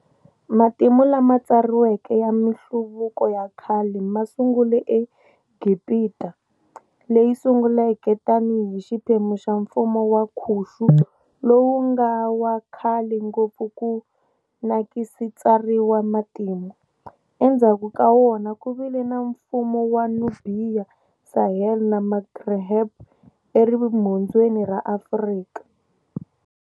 Matimu lama tsariweke ya minhluvuko ya khale ma sungula eGibita, Leyi sunguleke tani hi xiphemu xa mfumo wa Khushi lowu nga wa khlale ngopfu ku nagsi tsarima matimu, enzhaku ka wona ku vile na mfumo wa Nubiya, Saheli na Maghreb erimhondzeni ra Afrika.